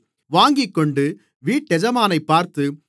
வாங்கிக்கொண்டு வீட்டெஜமானைப் பார்த்து